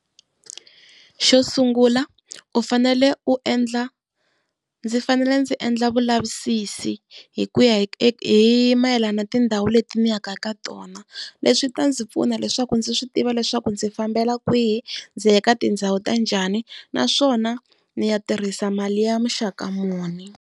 Xo sungula u fanele u endla, ndzi fanele ndzi endla vulavisisi hi ku ya hi mayelana na tindhawu leti ni yaka eka tona. Leswi swi ta ndzi pfuna leswaku ndzi swi tiva leswaku ndzi fambela kwihi ndzi ya eka tindhawu ta njhani naswona ndzi ya tirhisa mali ya muxaka muni.